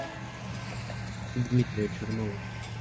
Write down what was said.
дмитрия чернова